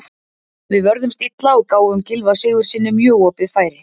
Við vörðumst illa og gáfum Gylfa Sigurðssyni mjög opið færi.